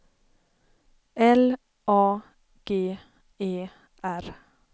L A G E R